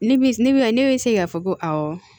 Ne bi ne bi ne bi se k'a fɔ ko awɔ